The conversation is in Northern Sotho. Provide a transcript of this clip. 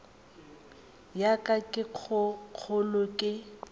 ya ka ye kgolo ke